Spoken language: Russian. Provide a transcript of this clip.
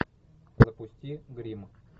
запусти гримм